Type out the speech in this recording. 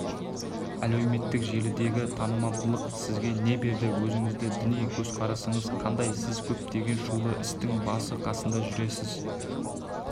әлеуметтік желідегі танымалдық сізге не берді өзіңіздің діни көзқарасыңыз қандай сіз көптеген шулы істің басы-қасында жүресіз